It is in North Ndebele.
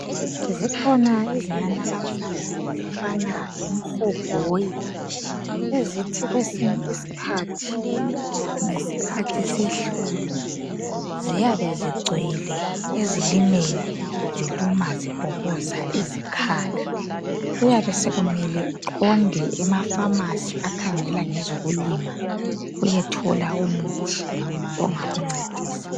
zikhona izinanakazana ezifana lemhogoyi ezithi kwesinye isikhathi ngesikhathi sehlobo ziyabe zigcwele ezilimweni ziluma zibhoboza izikhala kuyabe sekumele uqonde ema phamarcy akhangela ngezokulima uyethola umuthi ongakuncedisa